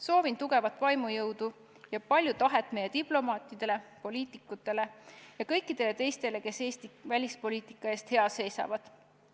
Soovin tugevat vaimujõudu ja palju tahet meie diplomaatidele, poliitikutele ja kõikidele teistele, kes Eesti välispoliitika eest hea seisavad!